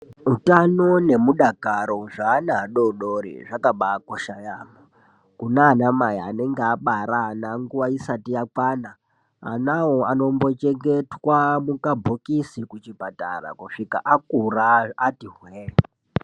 Utano nemudakaro zveana adodori zvakabaa kosha yaamho kunana mai anenge abara nguwa isati yakwana anawo anombochengetwa mukabhokisi kuchipatara kusvika akura ati hwee